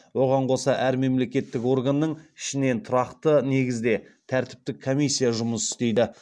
оған қоса әр мемлекеттік органның ішінен тұрақты негізде тәртіптік комиссия жұмыс істейді